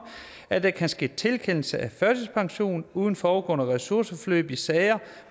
at der kan ske tilkendelse af førtidspension uden forudgående ressourceforløb i sager